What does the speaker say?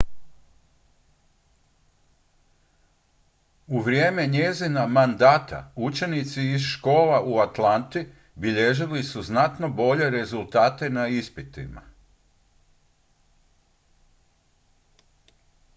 u vrijeme njezina mandata učenici iz škola u atlanti bilježili su znatno bolje rezultate na ispitima